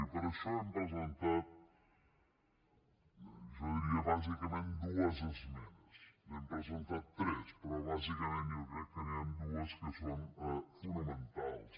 i per això hem presentat jo diria bàsicament dues esmenes n’hem presentat tres però bàsicament jo crec que n’hi han dues que són fonamentals